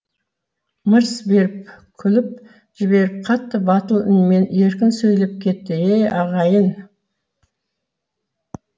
мырс беріп күліп жіберіп қатты батыл үнменен еркін сөйлеп кетті е ағайын